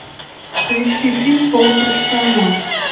поищи фильм полупрофессионал